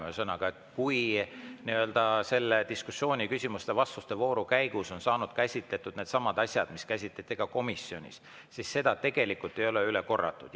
Ühesõnaga, kui meie diskussiooni küsimuste-vastuste vooru käigus on saanud käsitletud needsamad asjad, mida käsitleti ka komisjonis, siis seda tegelikult ei ole üle korratud.